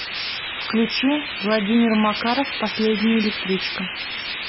включи владимир макаров последняя электричка